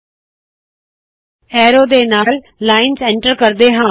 ਹੁਨ ਇਕ ਐਰੋ ਵਾਲੀ ਲਾਇਨ ਨੂੰ ਐਂਟਰ ਕਰਦੇ ਹਾ